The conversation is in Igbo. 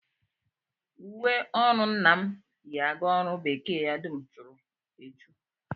Uwe ọrụ nna m yi aga ọrụ bekee ya dum churu echu